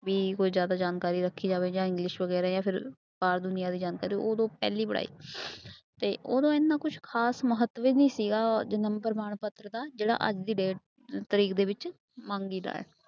ਵੀ ਕੋਈ ਜ਼ਿਆਦਾ ਜਾਣਕਾਰੀ ਰੱਖੀ ਜਾਵੇ ਜਾਂ english ਵਗ਼ੈਰਾ ਜਾਂ ਫਿਰ ਆਹ ਦੁਨੀਆਂ ਦੇ ਯੰਤਰ ਉਦੋਂ ਪਹਿਲੀ ਪੜ੍ਹਾਈ ਤੇ ਉਦੋਂ ਇੰਨਾ ਕੁਛ ਖ਼ਾਸ ਮਹੱਤਵ ਹੀ ਨੀ ਸੀਗਾ ਜਨਮ ਪ੍ਰਮਾਣ ਪੱਤਰ ਦਾ, ਜਿਹੜਾ ਅੱਜ ਦੀ date ਤਰੀਕ ਦੇ ਵਿੱਚ ਮੰਗੀਦਾ ਹੈ।